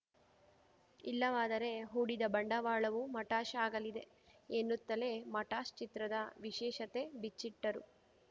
ಇಲ್ಲವಾದರೆ ಹೂಡಿದ ಬಂಡವಾಳವೂ ಮಟಾಶ್‌ ಆಗಲಿದೆ ಎನ್ನುತ್ತಲೇ ಮಟಾಶ್‌ ಚಿತ್ರದ ವಿಶೇಷತೆ ಬಿಚ್ಚಿಟ್ಟರು